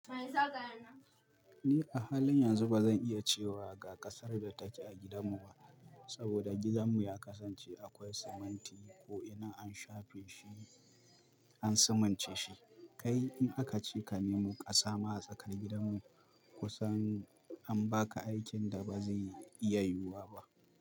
Ni a halin yanzu bazan iya cewa ga ƙasar da take a gidanmu ba, saboda gidanmu ya kasance akwai siminti, ko ina an shafe shi. An simince shi. Kai in aka ce ka nemo ƙasa ma a tsakar gidanmu, kusan an baka aikin da bazai iya yiwuwa ba.